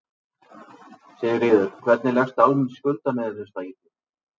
Sigríður: Hvernig leggst almenn skuldaniðurfærsla í þig?